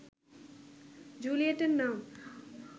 জুলিয়েটের নাম